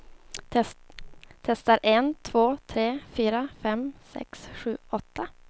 Testar en två tre fyra fem sex sju åtta.